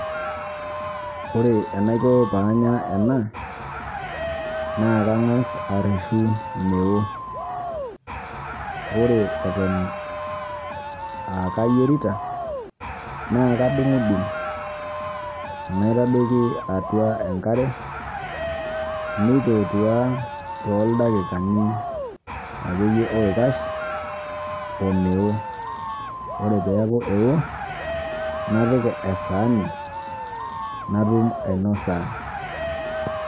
Ore anaikoo paa anyaa ena naa kang'as eireshuu meoo. Ore etoon aa kayeerita naa adung'udung'u naitoodoki atua nkaare meitotua to ldakikani akeiye oikaash omeoo. Ore pee aaku eoo napiik esahani natuum ainosa.